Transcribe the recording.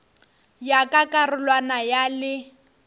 ya ka karolwana ya le